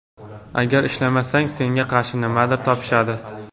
Agar ishlamasang – senga qarshi nimadir topishadi.